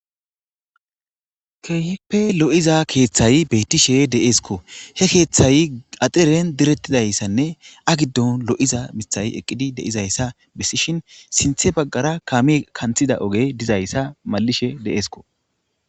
Kehippe lo'iza kethay betishe desiko he kethay axiren diretidaysane a gidon lo'iza mithay eqidaysa besishin sinthera kame kanthiza ogey malishe de'esikko